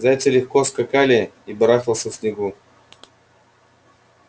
зайцы легко скакали и барахтался в снегу